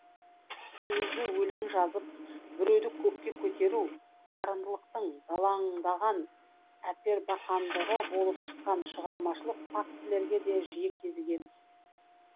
өзі өлең жазып біреуді көкке көтеру дарындылықтың далаңдаған әпербақандығы болып шығатын шығармашылық фактілерге де жиі кезігеміз